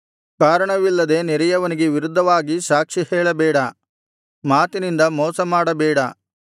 ಕಾರಣವಿಲ್ಲದೆ ನೆರೆಯವನಿಗೆ ವಿರುದ್ಧವಾಗಿ ಸಾಕ್ಷಿ ಹೇಳಬೇಡ ಮಾತಿನಿಂದ ಮೋಸಮಾಡಬೇಡ